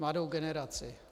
Mladou generaci.